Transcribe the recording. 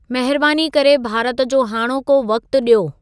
महिरबानी करे भारत जो हाणोको वक़्तु ॾियो